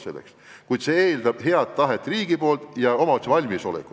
Kuid kõik see eeldab riigilt head tahet ja omavalitsuse valmisolekut.